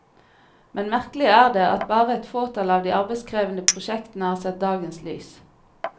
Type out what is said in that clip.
Men merkelig er det at bare et fåtall av de arbeidskrevende prosjektene har sett dagens lys.